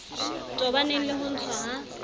tobaneng le ho ntshwa ha